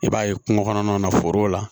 I b'a ye kungo kɔnɔnaw na forow la